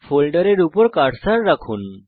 ফোল্ডারের উপর কার্সার রাখুন